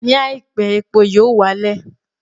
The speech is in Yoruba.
Ní àìpé, epo yóò wá lẹ̀